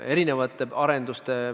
Signe Riisalo, järgmine küsimus, palun!